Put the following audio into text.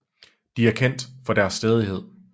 De er kendt for deres stædighed